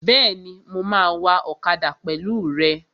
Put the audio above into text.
Bẹ́ẹ̀ni, mo máa wa ọ̀kadà pẹ̀lú rẹ